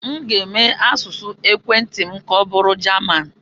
M ga-eme asụsụ ekwentị m ka ọbụrụ Jaman.